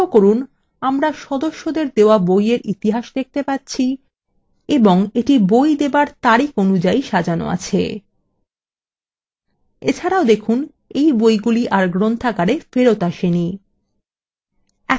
লক্ষ্য করুন আমরা সদস্যদের দেওয়া বইয়ের ইতিহাস date পাচ্ছি এবং এটি বই দেবার তারিখ অনুযায়ী সাজানো আছে